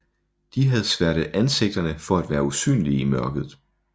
De havde sværtet ansigterne for at være usynlige i mørket